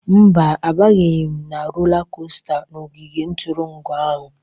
Mba, abanyeghị m rola kosta n'ogige ntụrụndụ ahụ.